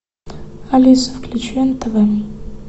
алиса включи нтв